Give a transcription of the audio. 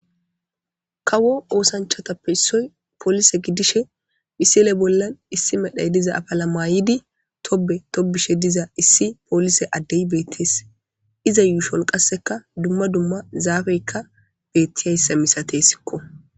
Kawo oosanchatappe issoy poolise gidishe phisile bollan issi medhay diza apala maayidi tobe tobishe diza issi polise addey beettees iza yuushon qasseka dumma dumma zaafeykka beettiyayssa misate sikko.